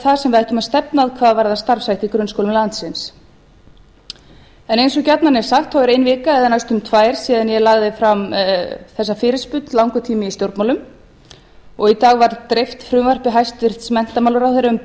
það sem við ættum að stefna að hvað varðar starfshætti í grunnskólum landsins eins og gjarnan er sagt þá er ein vika eða næstum tvær síðan ég lagði fram þessa fyrirspurn langur tími í stjórnmálum og í dag var dreift frumvarpi hæstvirts menntamálaráðherra um